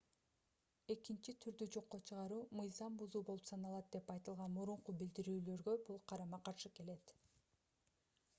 экинчи турду жокко чыгаруу мыйзам бузуу болуп саналат деп айтылган мурунку билдирүүлөргө бул карама-каршы келет